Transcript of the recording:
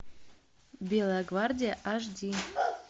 белая гвардия аш ди